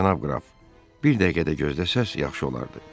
Cənab qraf, bir dəqiqə də gözləsəz yaxşı olardı.